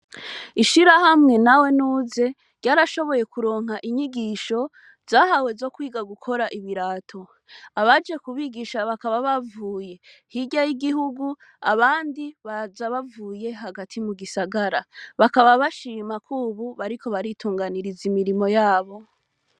Ishira hamwe na we nuze ryarashoboye kuronka inyigisho zahawe zo kwiga gukora ibirato abaje kubigisha bakaba bavuye hirya y'igihugu abandi baja bavuye hagati mu gisagara bakaba bashimako, ubu bariko baritunganiriza imirimo yabo.